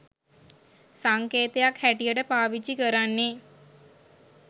සංකේතයක් හැටියට පාවිච්චි කරන්නෙ